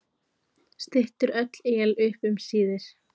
Styttir öll él upp um síðir?